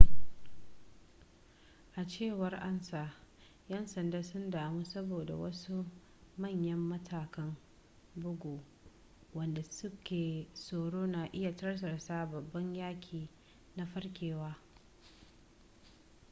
a cewar ansa yan sanda sun damu saboda wasu manyan matakan bugu wadda suke tsoro na iya tartasa babban yaki na farkewa